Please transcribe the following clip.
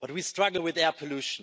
but we struggle with air pollution.